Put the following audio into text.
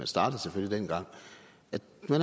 startede dengang